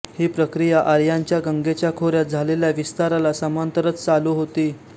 ही प्रक्रिया आर्यांच्या गंगेच्या खोऱ्यात झालेल्या विस्ताराला समांतरच चालू होती